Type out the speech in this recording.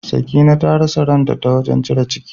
Sakina ta rasa ran ta, ta wajen cire ciki.